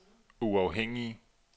uafhængige